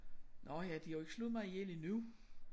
Nåh ja de har jo ikke slået mig ihjel endnu